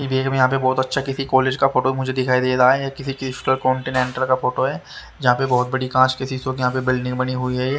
ये देखने में बहुत अच्छा किसी कॉलेज का फोटो मुझे दिखाई दे रहा है ये किसी चीज का कॉन्टेंनेट रखा फोटो है जहां पे बहुत बड़ी कांच के शिशो की यहां पे बिल्डिंग बनी हुई है।